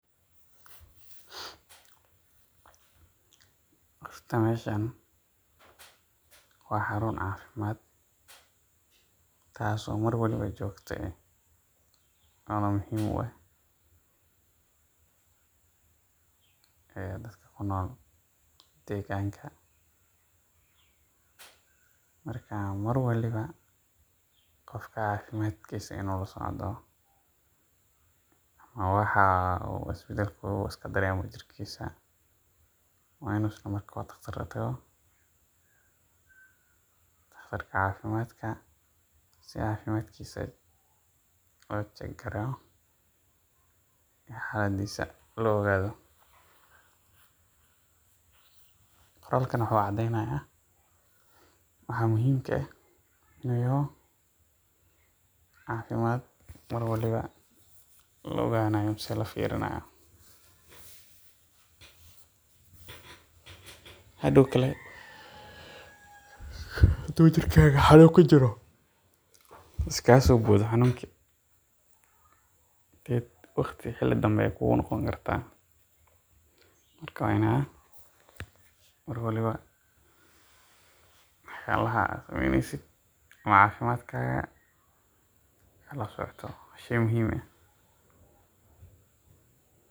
Horta meeshan waa xaruun cafimaad taas oo mar waliba joogta ah, ama muhiim u ah dadka kunool deeganka, marka mar waliba qofka cafimaadkiisa inuu lasocdo waa wax isbadalka uu iska dareemo jirkiisa, waa inuu daqtar utago, daqtarka cafimaadka si cafimaadkiisa loo ogaado, qoralkan wuxuu cadeynaya waxa muhiimka ah iyo cafimaad mar waliba la ogaanaya ama la fiirinaayo, hadoow kale haduu jirkaaga xanuun kujiro iskaga soo boodo xanuunki, waqti dambe ayeey kugu noqon kartaa, marka waa in mar waliba wax yaabaha cafimadkaaga aad lasocoto.